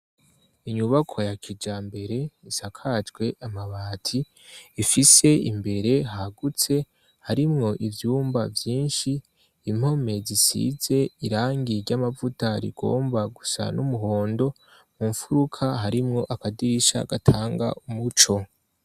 Inyubako ya kijambere isakajwe amabati ifise imbere hagutse harimwo ivyumba vyinshi impome zisize irangi ry'amavuta rigomba gusa n'umuhondo mu mfuruka harimwo akadirisha gatanga umuco.